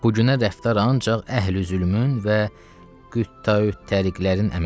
Bu günə rəftar ancaq əhli-zülmün və quttaü-təriqlərin əməlidir.